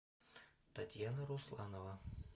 татьяна русланова